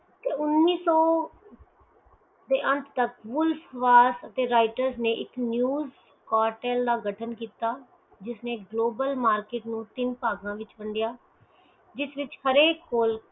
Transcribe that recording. ਤੇ ਉਨੀਸੋ ਦੇ ਅੰਤ ਤਕ ਵੌਲਫ ਵਾਰ ਅਤੇ writer ਨੇ ਇਕ ਨਿਊਜ਼ ਕਾਤਿਲ ਦਾ ਕੀਤਾ ਜਿਸਨੈ ਗਲੋਬਲ ਮਾਰਕੀਟ ਨੂੰ ਤਿਨ ਹਿਸੇ ਵਿਚ ਕੀਤਾ